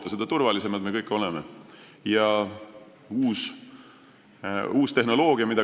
Ja seda turvalisemalt me kõik end tunneme.